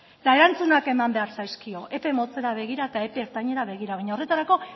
eta erantzunak eman behar zaizkio epe motzera begira eta epe ertainera begira baina horretarako